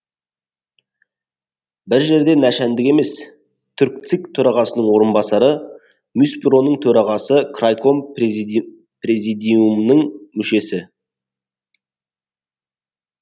бір жерде нәшәндік емес түркцик төрағасының орынбасары мусбюроның төрағасы крайком президиумының мүшесі